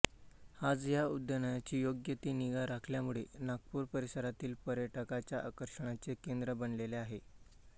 आज या उद्यानाची योग्य ती निगा राखल्यामुळे नागपूर परिसरातील पर्यटकांच्या आकर्षणाचे केंद्र बनलेले आहे